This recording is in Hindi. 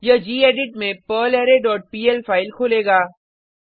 यह गेडिट में पर्लरे डॉट पीएल फाइल खोलेगा